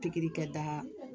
Pikiri kɛta